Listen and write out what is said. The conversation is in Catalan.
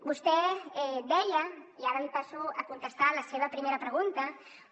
vostè deia i ara passo a contestar la seva primera pregunta